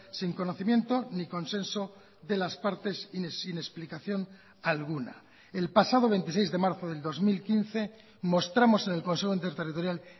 sin conocimiento ni consenso de las partes y sin explicación alguna el pasado veintiséis de marzo del dos mil quince mostramos en el consejo interterritorial